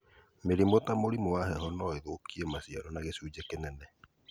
Mĩrimũ ta mũrimũ wa heho no ĩthũkie maciaro na gĩcunjĩ kĩnene